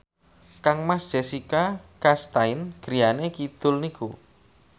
kangmas Jessica Chastain griyane kidul niku